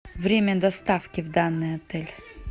время доставки в данный отель